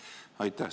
Aitäh!